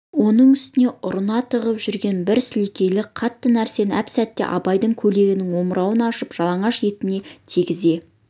соның үстіне ұртына тығып жүрген бір сілекейлі қатты нәрсені әп-сәтте абайдың көйлегінің омырауын ашып жалаңаш етіне тигізе